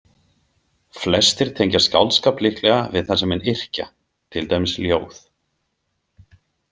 Flestir tengja skáldskap líklega við það sem menn yrkja, til dæmis ljóð.